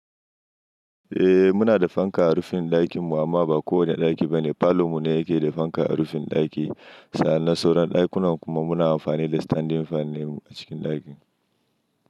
Eh muna da fanka a rufin ɗakin mu amma ba kowane ɗaki bane. Parlour mu ne yake da fanka a rufin ɗaki. San nan sauran ɗakunan kuma muna amfani da standing fan ne a cikin ɗakin.